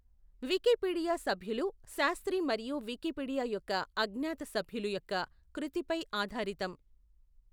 Wikipedia సభ్యులు శాస్త్రి మరియు Wikipedia యొక్క అజ్ఞాత సభ్యులు యొక్క కృతిపై ఆధారితం.